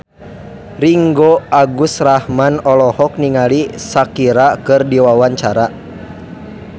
Ringgo Agus Rahman olohok ningali Shakira keur diwawancara